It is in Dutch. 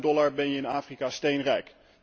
Met 8000 dollar ben je in Afrika steenrijk.